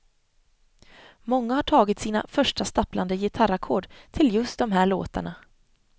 Många har tagit sina första stapplande gitarrackord till just de här låtarna.